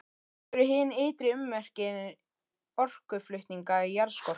Þetta eru hin ytri ummerki orkuflutninga í jarðskorpunni.